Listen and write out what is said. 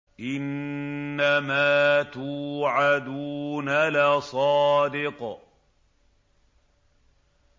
إِنَّمَا تُوعَدُونَ لَصَادِقٌ